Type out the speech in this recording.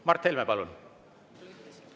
Mart Helme, palun!